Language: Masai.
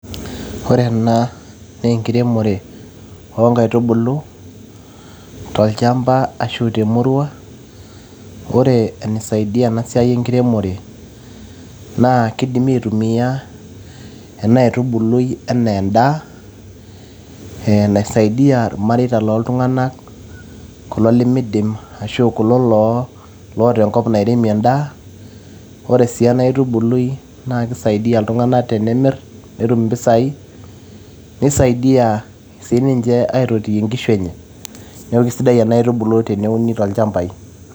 Ore ena naa enkiremore oo inkaitubulu, tolchamba ashu temurua. Ore eneisaidia ena siai enkiremore, naa keidimi aitumia ena aitubului, enaa endaa naisaidia ilmareita looltung'anak. kulo lemeidim ashu kulo loo ata enkop nairemie endaa. Ore sii ena aitubului naa keisaidia iltung'anak tenemir netum impisai. Neisaidia sii ninche aitotiyie inkishu enye. Neaku keisidai ena aitubului teneuni toolchampai.